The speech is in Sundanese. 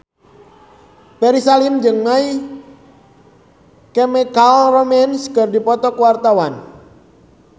Ferry Salim jeung My Chemical Romance keur dipoto ku wartawan